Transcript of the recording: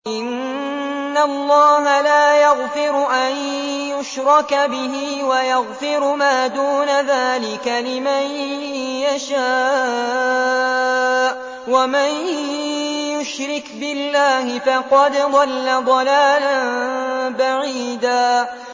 إِنَّ اللَّهَ لَا يَغْفِرُ أَن يُشْرَكَ بِهِ وَيَغْفِرُ مَا دُونَ ذَٰلِكَ لِمَن يَشَاءُ ۚ وَمَن يُشْرِكْ بِاللَّهِ فَقَدْ ضَلَّ ضَلَالًا بَعِيدًا